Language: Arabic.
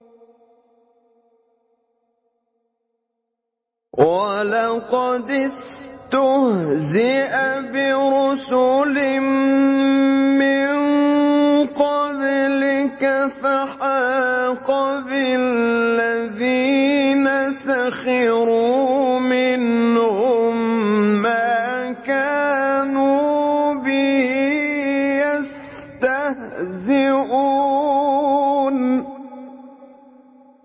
وَلَقَدِ اسْتُهْزِئَ بِرُسُلٍ مِّن قَبْلِكَ فَحَاقَ بِالَّذِينَ سَخِرُوا مِنْهُم مَّا كَانُوا بِهِ يَسْتَهْزِئُونَ